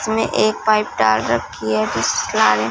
इसमें एक पाइप डाल रखी है जिस ट्राने--